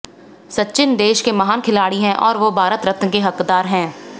सचिन देश के महान खिलाड़ी हैं और वो भारत रत्न के हकदार हैं